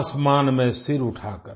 आसमान में सिर उठाकर